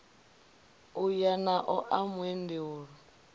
u ya naḽo ḽa muendeulu